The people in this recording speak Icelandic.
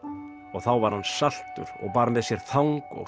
og þá var hann saltur og bar með sér þang og